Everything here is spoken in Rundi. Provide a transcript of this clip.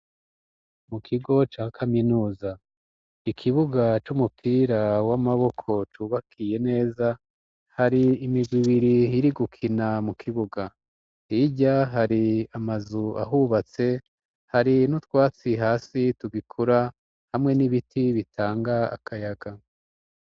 Mu kigo ca kaminuza, ikibuga c'umupira w'amaboko cubakiye neza, hari imigwi ibiri iri gukina mu kibuga, hirya hari amazu ahubatse, hari n'utwatsi hasi tugikura hamwe n'ibiti bitanga akayaga.